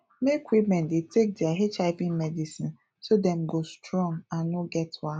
make women dey take their hiv medicine so dem go strong and no get wahala